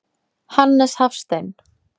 Hannes Hafstein.